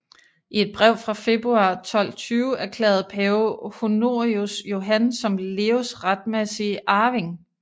I et brev fra februar 1220 erklærede pave Honorius Johan som Leos retmæssige arving